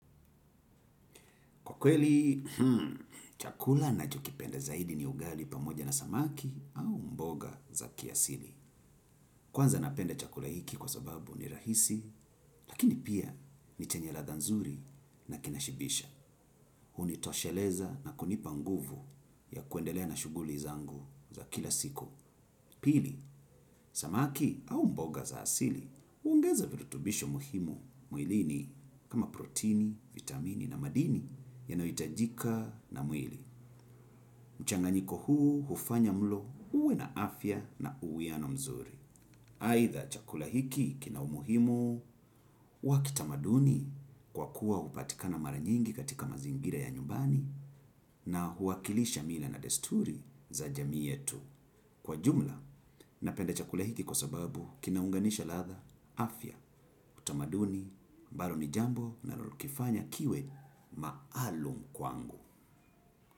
Kwa kweli, chakula nachokipenda zaidi ni ugali pamoja na samaki au mboga za kiasili. Kwanza napenda chakula hiki kwa sababu ni rahisi, lakini pia ni chenye ladha nzuri na kinashibisha. Huni tosheleza na kunipa nguvu ya kuendelea na shughuli zangu za kila siku. Pili, samaki au mboga za asili huongeza virutubisho muhimu mwilini kama protini, vitamini na madini yanayohitajika na muili. Mchanganyiko huu hufanya mlo uwe na afya na uwiano mzuri. Aidha chakula hiki kina umuhimu, wa kitamaduni kwa kuwa hupatikana mara nyingi katika mazingira ya nyumbani na huwakilisha mila na desturi za jamii yetu. Kwa jumla, napenda chakula hiki kwa sababu kinaunganisha ladha afya, utamaduni, bado ni jambo linalokifanya kiwe maalum kwangu.